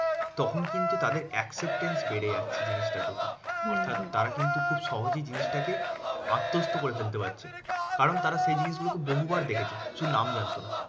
তখন কিন্তু তাদের acceptance বেড়ে যাচ্ছে জিনিসটার প্রতি। অর্থাৎ তারা কিন্তু খুব সহজেই জিনিসটাকে আত্মস্থ করে ফেলতে পারছে। কারণ তারা এই জিনিসগুলোকে বহুবার দেখেছে, শুধু নাম জানতো না।